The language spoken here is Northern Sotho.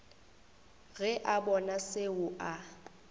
ge a bona seo a